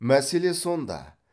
мәселе сонда